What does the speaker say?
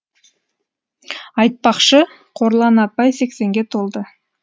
айтпақшы қорлан апай сексенге толды